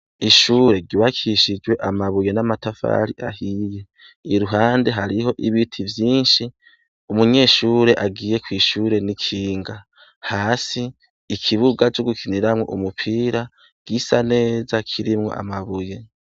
Ishure ryubakishijwe amabuye n'amatafari ahiye, Iruhande hariho ibiti vyinshi, utunyeshure agiye kw'ishure n'ikinga. Hasi ikibuga co gukiniramwo umupira, gisa neza kirimw'amabuye.